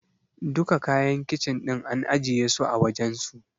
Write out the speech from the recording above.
Duka kayan Kicin ɗin an ajiye su a wajensu.